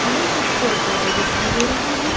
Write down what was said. हमें कुछ पेड़ पौधे दिखाई दे रहे हैं।